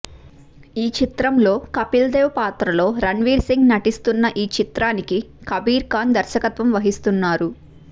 ఈ చిత్రంలో కపిల్ దేవ్ పాత్రలో రణ్ వీర్ సింగ్ నటిస్తున్న ఈ చిత్రానికి కబీర్ ఖాన్ దర్శకత్వం వహిస్తున్నారు